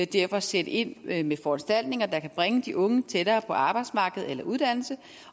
derfor sætte ind med med foranstaltninger der kan bringe de unge tættere på arbejdsmarkedet eller uddannelse